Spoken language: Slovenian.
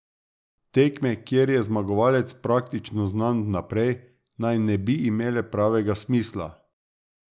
Tekme, kjer je zmagovalec praktično znan vnaprej, naj ne bi imele pravega smisla.